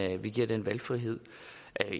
at vi giver den valgfrihed